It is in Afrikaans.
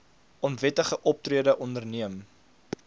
onwettige optrede onderneem